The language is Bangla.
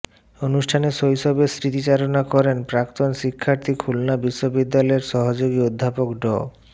অনুষ্ঠানে শৈশবের স্মৃতিচারণা করেন প্রাক্তন শিক্ষার্থী খুলনা বিশ্ববিদ্যালয়ের সহযোগী অধ্যাপক ড